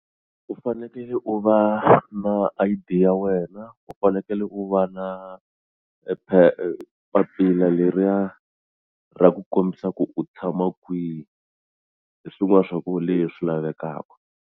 U fanekele u va na I_D ya wena u fanekele u va na papila leriya ra ku kombisa ku u tshama kwihi hi swin'wana swa ku leswi lavekaka.